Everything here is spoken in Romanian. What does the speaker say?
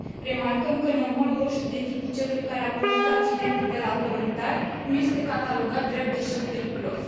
Remarcăm că nămolul roșu, de tipul celui care a produs accidentul de la Kolontar, nu este catalogat drept deșeu periculos.